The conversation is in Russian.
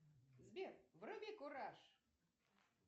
сбер вруби кураж